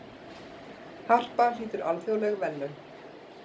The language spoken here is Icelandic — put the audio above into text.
Harpa hlýtur alþjóðleg verðlaun